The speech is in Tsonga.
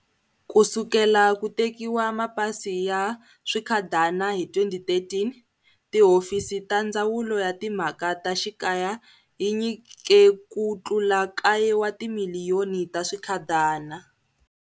Ku sukela ku tekiwa mapasi ya swikhadana hi 2013, tihofisi ta Ndzawulo ya Timhaka ta Xikaya yi nyike ku tlula kaye wa timiliyoni ta swikhadana.